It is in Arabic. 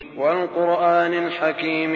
وَالْقُرْآنِ الْحَكِيمِ